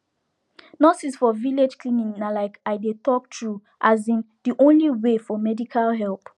nurses for village clinic na like i dey talk true asin de only way for medical help